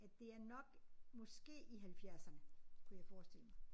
At det er nok måske i halvfjerdserne kunne jeg forestille mig